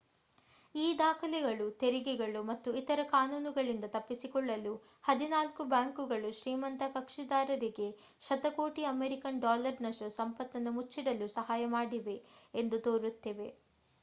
ಈ ದಾಖಲೆಗಳು ತೆರಿಗೆಗಳು ಮತ್ತು ಇತರ ಕಾನೂನುಗಳಿಂದ ತಪ್ಪಿಸಿಕೊಳ್ಳಲು ಹದಿನಾಲ್ಕು ಬ್ಯಾಂಕುಗಳು ಶ್ರೀಮಂತ ಕಕ್ಷಿದಾರರಿಗೆ ಶತಕೋಟಿ ಅಮೇರಿಕನ್ ಡಾಲರ್ ನಷ್ಟು ಸಂಪತ್ತನ್ನು ಮುಚ್ಚಿಡಲು ಸಹಾಯ ಮಾಡಿವೆ ಎಂದು ತೋರಿಸುತ್ತಿವೆ